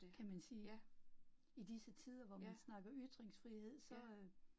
Kan man sige, i disse tider, hvor man snakker ytringsfrihed så øh